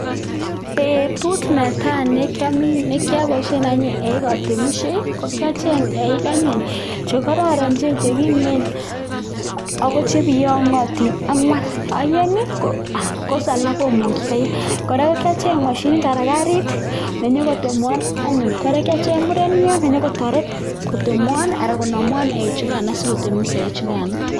Betut netai ne kiaboishen anyun eik atemishei ko kiacheny eik anyun chekororon, chekimen ako chebiyong'otin ang'wan. Oeng ko alak komusio oeng . Kora kiacheny mashinit anan karit nenyoko temwa kora kiacgen'g murenyot nenyokotoreto konamwon anan konamwon eik sikotemis eichukano.